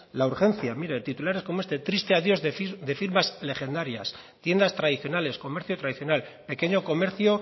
la urgencia mire titulares como este triste adiós de firmas legendarias tiendas tradicionales comercio tradicional pequeño comercio